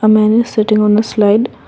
a man is sitting on a slide.